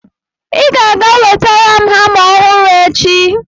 ị ga-aga wetara m hama ọhụrụ echi!